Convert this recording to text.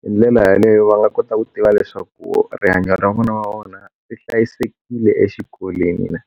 hi ndlela yaleyo va nga kota ku tiva leswaku rihanyo ra vana va vona swi hlayisekile exikolweni.